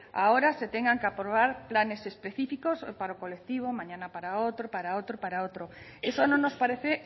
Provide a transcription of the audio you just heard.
ahora se tengan que aprobar planes específicos hoy para un colectivo mañana para otro para otro para otro eso no nos parece